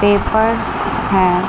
Papers हैं।